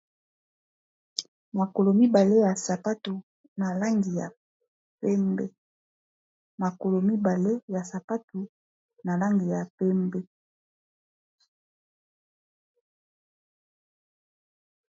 Makolo mibale ya sapatu na langi ya pembe makolo mibale ya sapatu na langi ya pembe